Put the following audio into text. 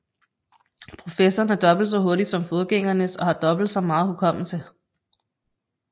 Prosessoren er dobbelt så hurtig som forgængernes og har dobbelt så meget hukommelse